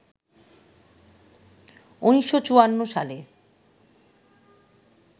১৯৫৪ সালে